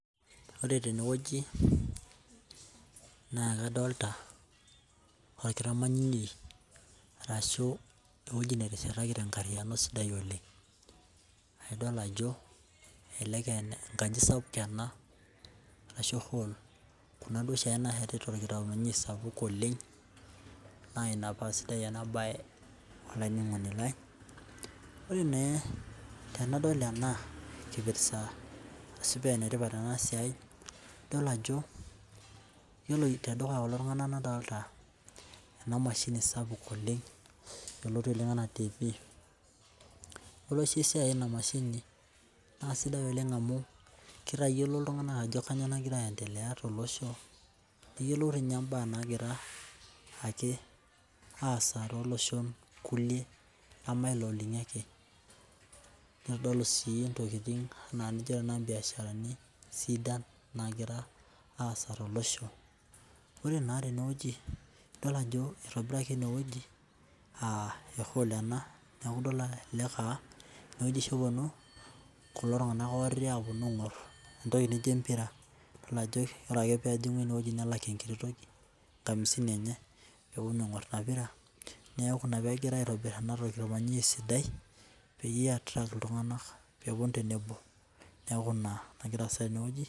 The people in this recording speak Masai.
Wore tenewoji, naa kadoolta, orkitamanyunei, arashu ewoji nateshetaki tenkariyiano sidai oleng'. Nidol ajo elelek aa enkaji sapuk ena arashu hall, kuna duo oshiake naasheti torkitamanyunoi sapuk oleng', naa Ina paa sidai ena baye olaininingoni lai. Wore naa tenadol ena kipirsa arashu paa enetipat ena siai, idol ajo, iyiolo tedukuya kulo tunganak nadoolta ena mashini sapuk oleng', yioloti oleng' enaa tiifi. Yiolo oshi esiai ena mashini, naa sidai oleng' amu kitayiolo iltunganak ajo kainyoo nakira aendelea tolosho, niyiolou dii ninye imbaa naakira ake aasa tooloshon kulie nema ilo linyi ake. Nitodolu sii intokitin enaa nijo tenakata of imbiasharani sidan naakira aasa tolosho. Wore naa tenewoji , idol ajo itobiraki enewuoji aa e hall, neeku kelelek aa enewuoji oshi eponu kulo tunganak oti aaponu aingorr entoki naijo embira. Wore ake pee ejingu enewuoji nelak enkiti toki. Enkamisini enye, neponu aingorr inia pira, neeku inia peekirae aitobirr ena toki tormanyishoi sidai, peyie ia attract iltunganak peeponu tenebo. Neeku inia nakira aasa tenewoji